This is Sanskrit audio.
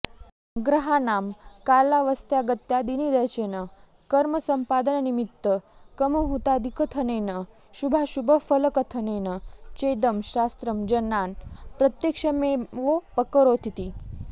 ग्रहाणां कालावस्थागत्यादिनिर्देचेन कर्मसम्पादननिमित्तकमुहूर्तादिकथनेन शुभाशुभफलकथनेन चेदं शास्त्रं जनान् प्रत्यक्षमेवोपकरोतीति